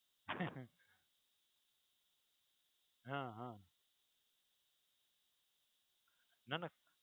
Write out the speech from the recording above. હા હા નાં નાં